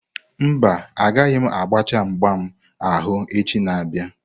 Mba, agaghị m agbachaa mgbam ahụ echi na-abịa.